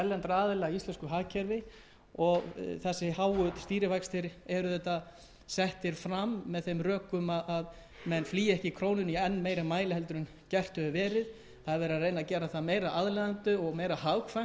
aðila í íslensku hagkerfi og þessir háu stýrivextir eru settir fram með þeim rökum að menn flýi ekki krónuna í enn meiri mæli en gert hefur verið það er verið að reyna að gera það meira aðlaðandi og meira hagkvæmt ef svo má segja að